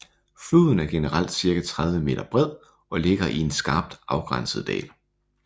Floden er generelt cirka 30 m bred og ligger i en skarpt afgrænset dal